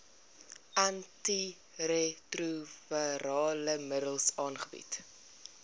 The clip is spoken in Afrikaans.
antiretrovirale middels aangebied